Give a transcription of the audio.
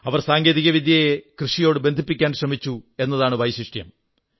അവർ സാങ്കേതികവിദ്യയെ കൃഷിയോടു ബന്ധിപ്പിക്കാൻ ശ്രമിച്ചു എന്നതാണ് വൈശിഷ്ട്യം